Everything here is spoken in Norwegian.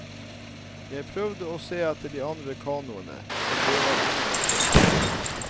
Jeg prøvde å se etter de andre kanoene, men det var ingen å se.